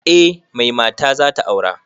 Eh mai mata zata aura